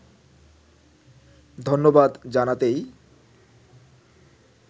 ধন্যবাদ জানাতেই